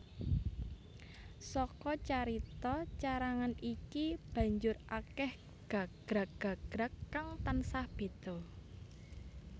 Saka carita carangan iki banjur akèh gagrag gagrag kang tansah béda